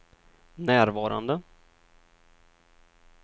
närvarande